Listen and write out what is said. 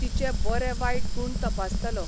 तिचे बरे वायट गूण तपासतालो.